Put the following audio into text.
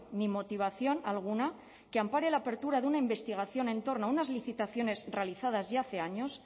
ni motivación alguna que ampare la apertura de una investigación en torno a unas licitaciones realizadas ya hace años